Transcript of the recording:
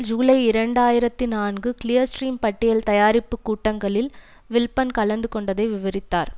ஜூலை இரண்டு ஆயிரத்தி நான்கு கிளியர் ஸ்ட்ரீம் பட்டியல் தயாரிப்பு கூட்டங்களில் வில்ப்பன் கலந்து கொண்டதை விவரித்தார்